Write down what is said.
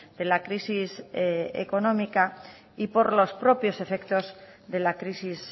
de la crisis económica y por los propios efectos de la crisis